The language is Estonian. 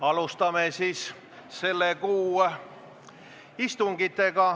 Alustame selle kuu istungeid.